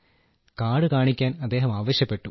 card കാണിക്കാൻ അദ്ദേഹം ആവശ്യപ്പെട്ടു